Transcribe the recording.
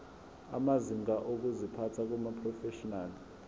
amazinga okuziphatha kumaprofeshinali